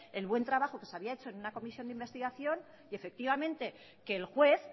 el buen trabajo que se había hecho en una comisión de investigación y efectivamente que el juez